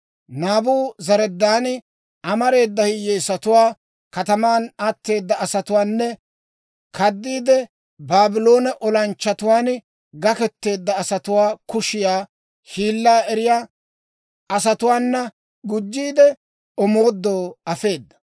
Naabuzaradaani amareeda hiyyeesatuwaa, kataman atteeda asatuwaanne kaddiide Baabloone olanchchatuwaan gakketeedda asatuwaa kushiyaa hiillaa eriyaa asatuwaanakka gujjiide, omoodoo afeeda.